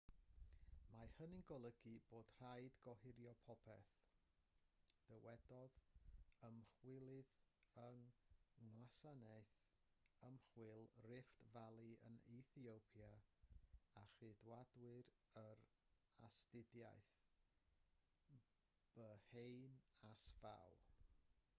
mae hynny'n golygu bod rhaid gohirio popeth dywedodd ymchwilydd yng ngwasanaeth ymchwil rift valley yn ethiopia a chydawdur yr astudiaeth berhane asfaw